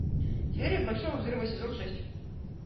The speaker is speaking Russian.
теория большого взрыва сезон шесть